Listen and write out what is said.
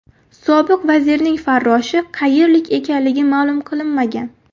Sobiq vazirning farroshi qayerlik ekanligi ma’lum qilinmagan.